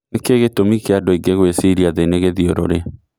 nĩ kĩĩ gĩtũmĩ kia andũ angi ngũĩciria thĩ ni gĩthĩũrũrĩ